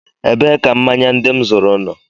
Ebee ka mmanya ndị m zuru nọ?